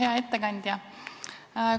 Hea ettekandja!